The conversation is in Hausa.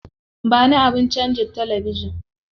Ba ni abin canza talabijin.